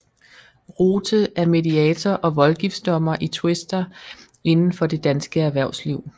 Rothe er mediator og voldgiftsdommer i tvister inden for det danske erhvervsliv